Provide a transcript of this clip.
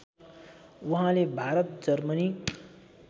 उहाँले भारत जर्मनी